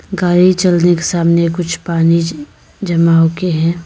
गाड़ी चलने के सामने कुछ पानी जमा हो गया है।